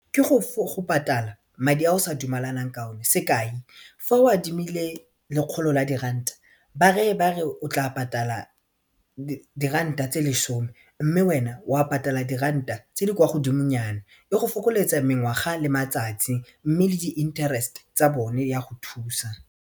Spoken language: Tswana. Ke go patala madi a o sa dumalanang ka one sekai fa o adimile lekgolo la diranta ba reye ba re o tla patala diranta tse lesome mme wena wa patala diranta tse di kwa godimo nyana e go fokoletsa mengwaga le matsatsi mme le di-interest tsa bone ya go thusa.